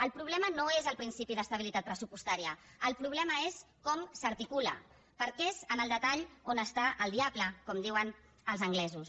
el problema no és el principi d’estabilitat pressupostària el problema és com s’articula perquè és en el detall on està el diable com diuen els anglesos